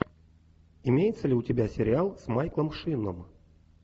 имеется ли у тебя сериал с майклом шином